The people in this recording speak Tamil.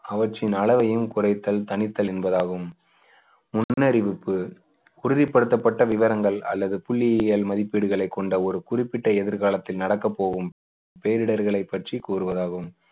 அவற்றின் அளவையும் குறைத்தல் தணித்தல் என்பதாகும் முன்னறிவிப்பு உறுதிப்படுத்தப்பட்ட விவரங்கள் அல்லது புள்ளியியல் மதிப்பீடுகளைக் கொண்ட ஒரு குறிப்பிட்ட எதிர்காலத்தில் நடக்கப் போகும் பேரிடர்களை பற்றி கூறுவதாகும்